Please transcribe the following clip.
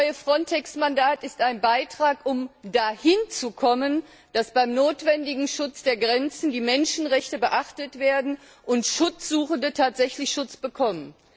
Das neue FRONTEX Mandat ist ein Beitrag, um dahin zu kommen, dass beim notwendigen Schutz der Grenzen die Menschenrechte beachtet werden und Schutzsuchende tatsächlich Schutz bekommen.